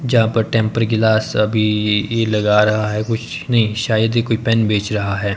जहां पर temper glass अभी लगा रहा है कुछ नहीं शायद ये कोई पेन बेच रहा है।